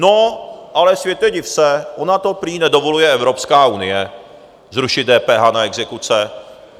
No ale světě, div se, ona to prý nedovoluje Evropská unie, zrušit DPH na exekuce.